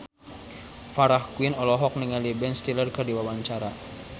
Farah Quinn olohok ningali Ben Stiller keur diwawancara